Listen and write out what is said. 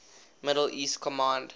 middle east command